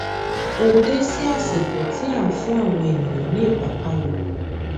o dé sí ásìkò tí a ń fún àwọn ènìyàn ní ìpápánu